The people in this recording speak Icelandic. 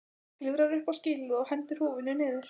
Klifrar upp á skýlið og hendir húfunni niður.